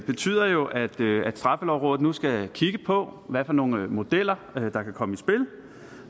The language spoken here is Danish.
betyder jo at at straffelovrådet nu skal kigge på hvad for nogle modeller der kan komme i spil